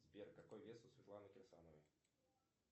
сбер какой вес у светланы кирсановой